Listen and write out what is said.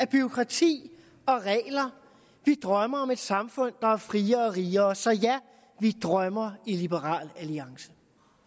bureaukrati og regler vi drømmer om et samfund der er friere og rigere så ja vi drømmer i liberal alliance